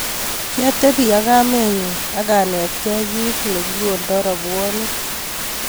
kiatebi ak kamenyu ak anetkei kiit nekikoldoi robwoniek